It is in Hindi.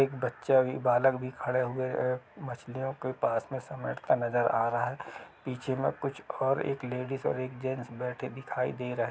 एक बच्चा भी बालक भी खड़े हुए है मछलियो के पास में समेटता नजर आ रहा है पीछे में कुछ और एक लेडिस और एक जेंट्स बैठे दिखाई दे रहे--